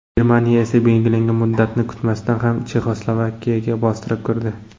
Germaniya esa belgilangan muddatni kutmasdan ham Chexoslavakiyaga bostirib kirdi.